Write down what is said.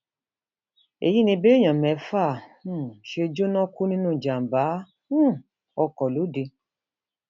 èyí ni béèyàn mẹfà um ṣe jóná kú nínú ìjàmbá um ọkọ lóde